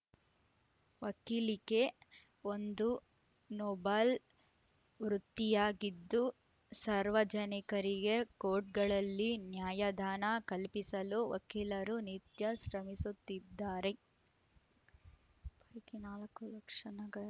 ವಕೀಲಿಕೆ ಒಂದು ನೊಬಲ್‌ ವೃತ್ತಿಯಾಗಿದ್ದು ಸಾರ್ವಜನಿಕರಿಗೆ ಕೋರ್ಟ್‌ಗಳಲ್ಲಿ ನ್ಯಾಯದಾನ ಕಲ್ಪಿಸಲು ವಕೀಲರು ನಿತ್ಯ ಶ್ರಮಿಸುತ್ತಿದ್ದಾರೆ